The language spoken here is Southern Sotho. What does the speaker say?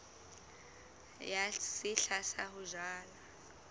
ya sehla sa ho jala